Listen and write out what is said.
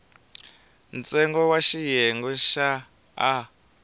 ntsengo wa xiyenge xa a